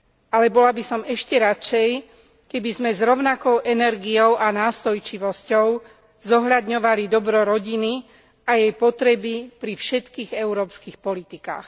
Alebo bola by som ešte radšej, keby sme s rovnakou energiou a nástojčivosťou zohľadňovali dobro rodiny a jej potreby pri všetkých európskych politikách.